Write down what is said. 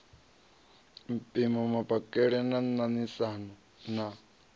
mpimo mapakele na ṋaṋisana na